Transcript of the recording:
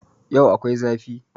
Yau akwai zafi